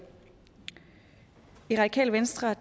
i radikale venstre